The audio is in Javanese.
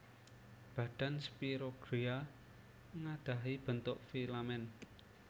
Badan Spirogyra nggadhahi bentuk filamen